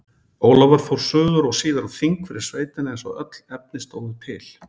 Ólafur fór suður og síðar á þing fyrir sveitina eins og öll efni stóðu til.